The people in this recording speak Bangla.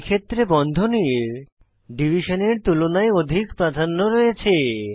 এই ক্ষেত্রে বন্ধনীর ডিভিশন এর তুলনায় অধিক প্রাধন্য রয়েছে